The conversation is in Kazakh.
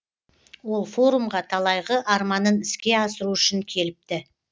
ол форумға талайғы арманын іске асыру үшін келіпті